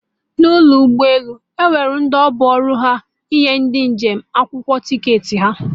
N'ụlọ ụgbọ elu, Enwere ndị ọrụ ha bụ ịnye ndị njem akwụkwọ ticketị ha